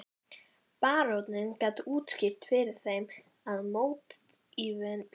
Baróninn gat útskýrt fyrir þeim að mótífin væru goðfræðileg.